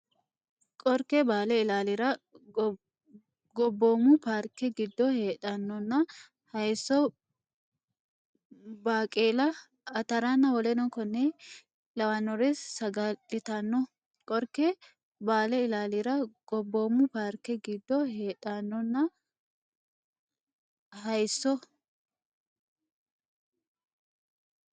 Qorke Baale Ilaallara Gobboomu Paarke giddo heedhannonna hayisso baaqeela ataranna w k l saga litanno Qorke Baale Ilaallara Gobboomu Paarke giddo heedhannonna hayisso.